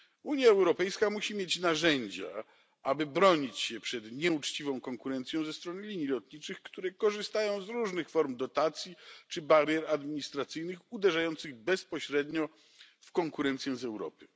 Unia Europejska musi mieć narzędzia, aby bronić się przed nieuczciwą konkurencją ze strony linii lotniczych, które korzystają z różnych form dotacji czy barier administracyjnych uderzających bezpośrednio w konkurencję z Europy.